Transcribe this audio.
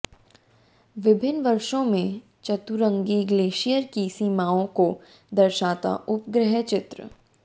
विभिन्न वर्षों में चतुरंगी ग्लेशियर की सीमाओं को दर्शाता उपग्रह चित्र